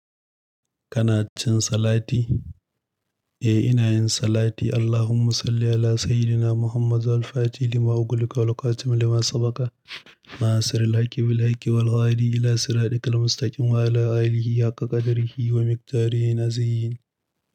Kana cin salati? Eh ina yin salati. Allahumma salli 'ala sayyidina Muhammadin al fatihi lima ughliqa wal khatimi lima sabaqa, nasiril haqi bil haqi wal ghaadi ila siradil mustaqim, wa 'ala alihi haqqa qadrihi wa miqdarihi na ziyyin.